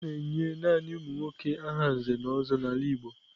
A na-enye naanị ụmụ nwoke aha Nze na Ozo n'ala Igbo.